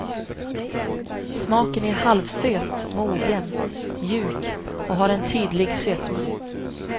Smaken är halvsöt, mogen, mjuk och har en tydlig sötma.